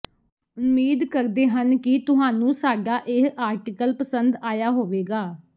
ਉਂਮੀਦ ਕਰਦੇ ਹਨ ਕਿ ਤੁਹਾਨੂੰ ਸਾਡਾ ਇਹ ਆਰਟਿਕਲ ਪਸੰਦ ਆਇਆ ਹੋਵੇਗਾ